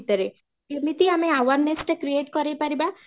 ରେ, କେମିତି ଆମେ awareness ଟାକୁ create କରି ପାରିବା